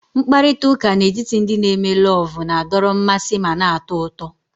Mkparịta ụka n'etiti ndị n'eme lovu na-adọrọ mmasị ma na-atọ ụtọ